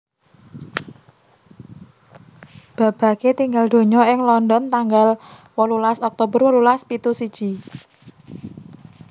Babbage tinggal donya ing London tanggal wolulas Oktober wolulas pitu siji